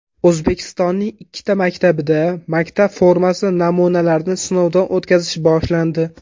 O‘zbekistonning ikkita maktabida maktab formasi namunalarini sinovdan o‘tkazish boshlandi.